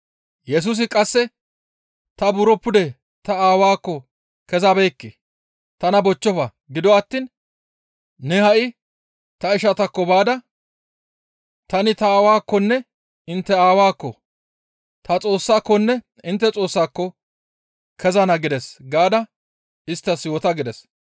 Yesusi qasse, «Ta buro pude ta Aawaakko kezabeekke; tana bochchofa; gido attiin ne ha7i ta ishataakko baada, ‹Tani ta Aawakkonne intte Aawaakko, ta Xoossaakonne intte Xoossaako kezana gides› gaada isttas yoota» gides.